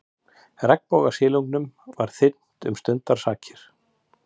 Regnbogasilungnum var þyrmt um stundarsakir.